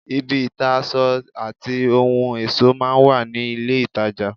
ibi ìta aṣọ àti ohun ẹ̀ṣọ́ máa ń wà ní ilé-ìtajà